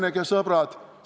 Häbenege, sõbrad!